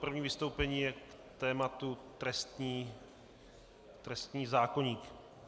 První vystoupení je k tématu trestního zákoníku.